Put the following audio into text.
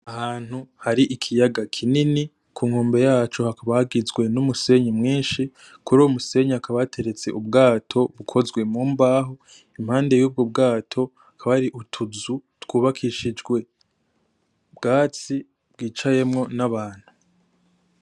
Ahantu hari ikiyaga kinini kunkombe yaco hakaba hagizwe n'umusenyi mwinshi , kuruwo musenyi hakaba hateretse ubwato bukozwe mumbaho impande yubwo bwato hakaba hari utuzu twubakishijwe ubwatsi bwicayemwo n'abantu .